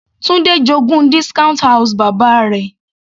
Tunde j'ogún discount house bàbá rẹ̀.